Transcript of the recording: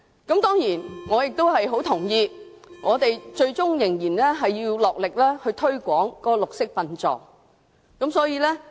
當然，我也很同意最終仍要盡力推廣綠色殯葬。